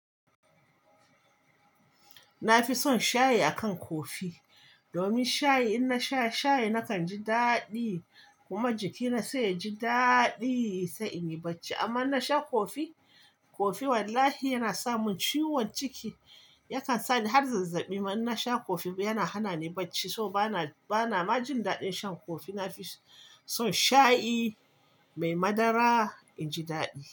Na fi son shayi akan kofi, domin shayi in na sha shayi na kan ji daɗi kuma jikina sai ya ji daɗi sai in yi bacci. Amma in na sha kofi, kofi wallahi yana samin ciwon ciki, yakan sani har zazzabi. Kuma in na sha kofi yana hana ni bacci, so bana, bana ma jin daɗin shan kofi. Na fi son shayi mai madara inji daɗi.